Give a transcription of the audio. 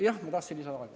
Jah, ma tahtsin lisaaega.